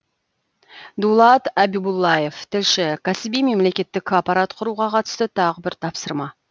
дулат абибуллаев тілші кәсіби мемлекеттік аппарат құруға қатысты тағы бір тапсырма